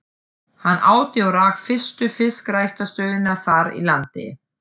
Hann átti og rak fyrstu fiskræktarstöðina þar í landi.